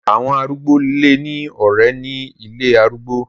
Àwọn arúgbó lè ní ọ̀ré ní ilé arúgbó.